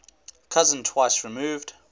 cousin twice removed